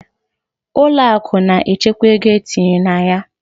Ụlọ akụ na-echekwa ego e tinyere na ya.